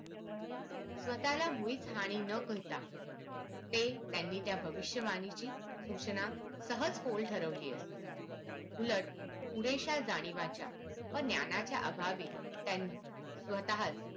स्वतःला मुळीच हानी न करता ते त्या भविष्यवाणीची सूचना सहज पोळ ठेवली आहे उलट पुरेशा जाणिवांच्या व ज्ञानाच्या अभावे त्या स्वतःच